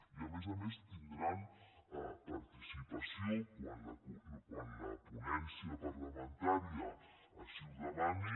i a més a més tindran participació quan la ponència parlamentària així ho demani